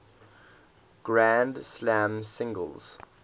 grand slam singles